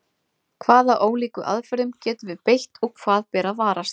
Í fyrsta lagi voru engar nákvæmar klukkur til á tímum Eratosþenesar.